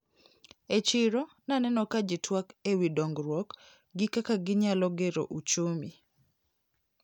E chiro naneno ka jitwak ewi dongruok gi kaka ginyalo gero uchumi.